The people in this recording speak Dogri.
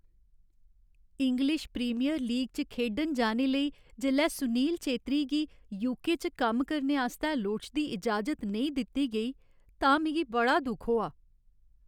इंग्लिश प्रीमियर लीग च खेढन जाने लेई जेल्लै सुनील छेत्री गी यूके च कम्म करने आस्तै लोड़चदी इजाजत नेईं दित्ती गेई तां मिगी बड़ा दुख होआ।